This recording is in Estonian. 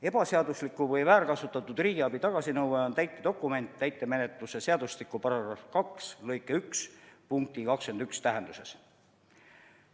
Ebaseadusliku või väärkasutatud riigiabi tagasinõue on täitedokument täitemenetluse seadustiku § 2 lõike 1 punkti 21 tähenduses.